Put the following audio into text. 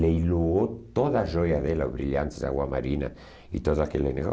Leilou toda a joia dela, o brilhante de água marina e todo aquele